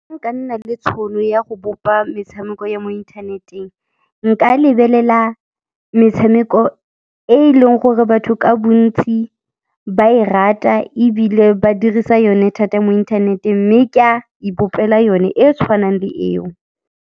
Nka nna le tšhono ya go bopa metshameko ya mo inthaneteng, nka lebelela metshameko e e leng gore batho ka bontsi ba e rata ebile ba dirisa yone thata mo inthaneteng mme ke a ipopela yone e e tshwanang le eo.